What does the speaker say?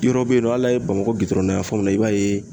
Yɔrɔ bɛ yen nɔ hali n'a ye Bamakɔ dayanfanw na i b'a ye